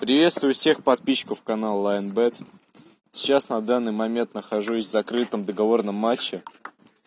приветствую всех подписчиков канала лайн бет сейчас на данный момент нахожусь в закрытом договорном матче